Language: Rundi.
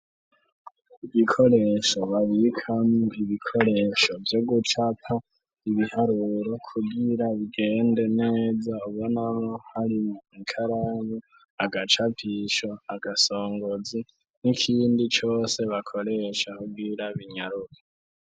Ibikoresho babikamwo ibikoresho vyo gucapa ibiharuro kugira bigende neza ubonako hari ikaramu, agacapisho, agasongozi n'ikindi cose bakoresha kugira binyaruke.